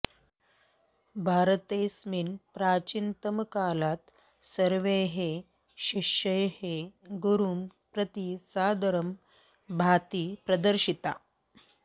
भारतेऽस्मिन् प्राचीनतमकालात् सर्वैः शिष्यैः गुरुं प्रति सादरं भाति प्रदर्शिता